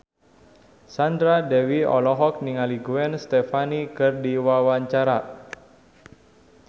Sandra Dewi olohok ningali Gwen Stefani keur diwawancara